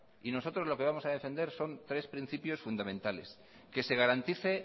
y nosotros lo que vamos a defender son tres principios fundamentales que se garantice